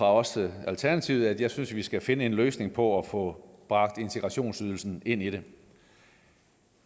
også alternativet at jeg synes at vi skal finde en løsning på at få bragt integrationsydelsen ind i det